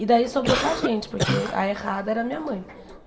E daí sobrou para a gente, porque a errada era a minha mãe.